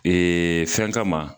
fɛn kama